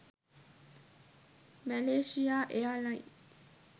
malaysia airlines